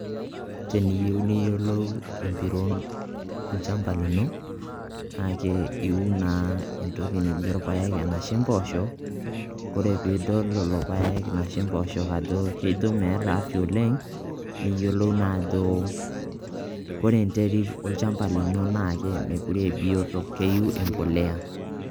Teniyeu niyolou empiron olchamba lino naake iun naa entoki nijo irpaek anashe mboosho kore piidol lelo irpaek anashe mboosho ajo kijo meeta afya oleng' niyolou naa ajo kore enterit olchamba lino naake mekure e biyoto , keyeu embolea.